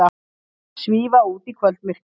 Svífa út í kvöldmyrkrið.